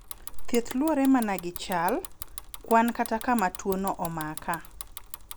Thieth luwore mana gi chal, kwan kata kama tuo no omaka.